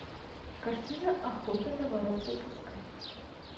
картина охота на воров запускай